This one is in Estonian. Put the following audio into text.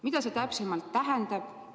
Mida see täpsemalt tähendab?